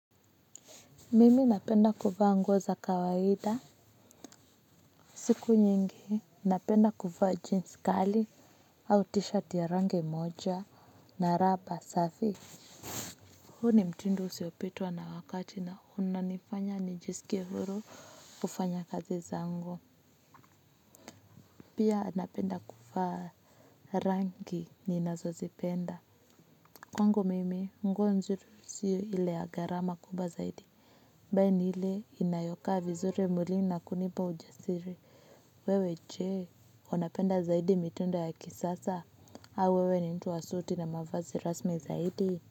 Mimi napenda kuvaa nguo za kawaida. Siku nyingi napenda kuvaa jeans kali au t-shirt ya rangi moja na rubber safi. Huu ni mtindo usiopitwa na wakati na unanifanya nijisikie huru kufanya kazi zangu. Pia napenda kuvaa rangi ni nazozipenda. Kwangu mimi, nguo nzuri sio ile ya gharama kubwa zaidi. Bali ni ile inayokaa vizuri mwilini na kunipa ujasiri. Wewe je, unapenda zaidi mitindo ya kisasa. Au wewe ni mtu wa suti na mavazi rasmi zaidi.